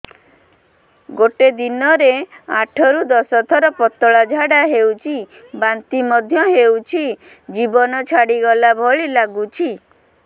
ଗୋଟେ ଦିନରେ ଆଠ ରୁ ଦଶ ଥର ପତଳା ଝାଡା ହେଉଛି ବାନ୍ତି ମଧ୍ୟ ହେଉଛି ଜୀବନ ଛାଡିଗଲା ଭଳି ଲଗୁଛି